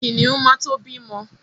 Kìnìún ma to bímọ.